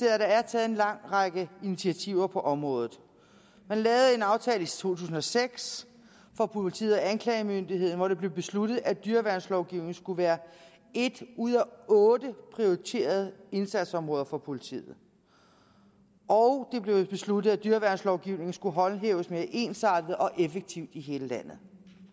at der er taget en lang række initiativer på området man lavede en aftale i to tusind og seks for politiet og anklagemyndigheden hvori det blev besluttet at dyreværnslovgivningen skulle være et ud af otte prioriterede indsatsområder for politiet og det blev besluttet at dyreværnslovgivningen skulle håndhæves mere ensartet og effektivt i hele landet